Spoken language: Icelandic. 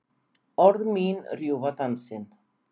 Orð mín rjúfa dansinn.